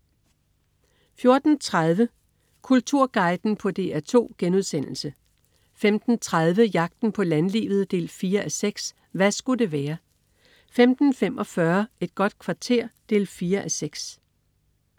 14.30 Kulturguiden på DR2* 15.30 Jagten på landlivet 4:6. Hva' sku' det være? 15.45 Et godt kvarter 4:6